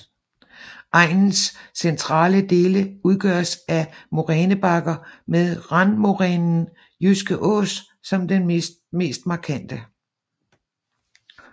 Egnens centrale dele udgøres af morænebakker med randmorænen Jyske Ås som den mest markante